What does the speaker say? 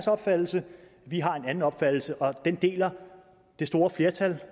opfattelse vi har en anden opfattelse og den deler det store flertal